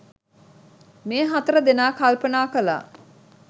මේ හතර දෙනා කල්පනා කළා.